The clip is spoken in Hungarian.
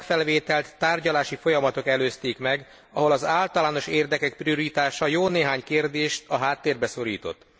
A tagfelvételt tárgyalási folyamatok előzték meg, ahol az általános érdekek prioritása jó néhány kérdést a háttérbe szorított.